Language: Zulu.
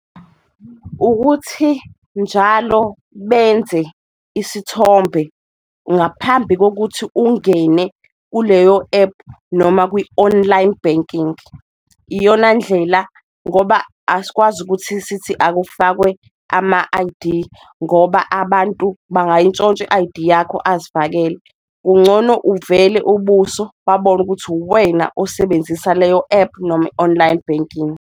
Ukuthi njalo benze isithombe ngaphambi kokuthi ungene kuleyo epu noma kwi-online banking iyona ndlela ngoba asikwazi ukuthi sithi akufake ama-I_D ngoba abantu bangayintshontsha i-I_D yakho azifakele. Kungcono uvele ubuso, babone ukuthi uwena osebenzisa leyo ephu noma i-online banking.